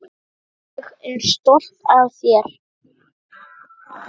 Ég er stolt af þér.